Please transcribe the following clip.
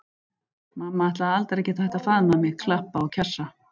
Mamma ætlaði aldrei að geta hætt að faðma mig, klappa og kjassa.